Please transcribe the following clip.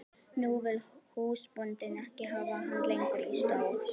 Nú vill húsbóndinn ekki hafa hann lengur í stóði.